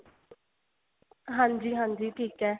ਹਾਂਜੀ ਹਾਂਜੀ ਠੀਕ ਏ